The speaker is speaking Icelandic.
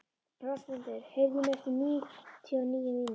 Rósmundur, heyrðu í mér eftir níutíu og níu mínútur.